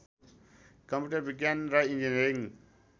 computer विज्ञान र engineering